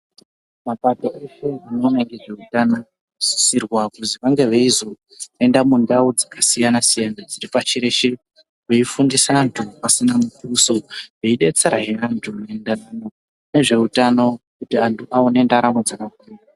Mapandiko eshe anoona ngezviutano anosisirwa kuti ange eizoenda mundau dzakasiyana siyana pashi reshe veifundisa vantu pasina muduso veidetserazve vantu ngezveutano kuti vantu vaone ndaramo dzakakura.